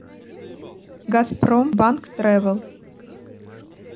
газпромбанк тревел